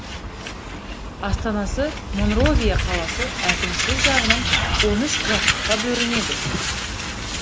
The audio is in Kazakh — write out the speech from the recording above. астанасы монровия қаласы әкімшілік жағынан он үш графтыққа бөлінеді